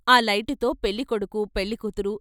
ఆ లైటుతో పెళ్ళి కొడుకు పెళ్ళికూతురు.